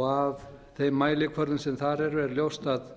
og að þeim mælikvörðum sem þar eru er ljóst að